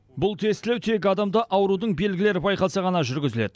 бұл тестілеу тек адамда аурудың белгілері байқалса ғана жүргізіледі